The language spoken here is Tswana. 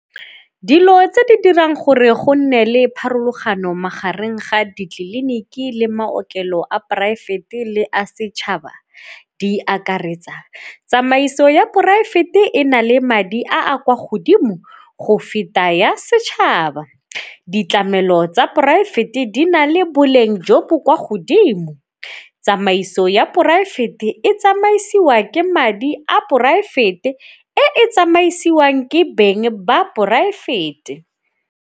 Dilo tse di dirang gore go nne le pharologano magareng ga ditleliniki le maokelo a poraefete le a setšhaba di akaretsa, tsamaiso ya poraefete e na le madi a a kwa godimo go feta ya setšhaba, ditlamelo tsa poraefete di na le boleng jo bo kwa godimo. Tsamaiso ya poraefete e tsamaisiwa ke madi a poraefete e tsamaisiwang ke beng ba poraefete.